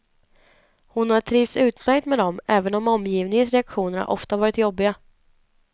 Hon har trivts utmärkt med dem, även om omgivningens reaktioner ofta varit jobbiga.